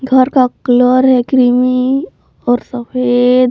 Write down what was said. घर का कलर है क्रीमी और सफेद।